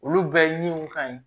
Olu bɛɛ ye min ka ɲi